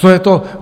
Co je to?